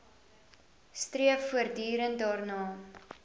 streef voortdurend daarna